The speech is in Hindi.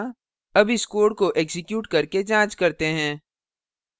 अब इस code को एक्जीक्यूट करके जाँच करते हैं